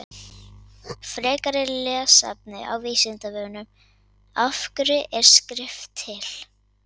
Frekara lesefni á Vísindavefnum: Af hverju er skrift til?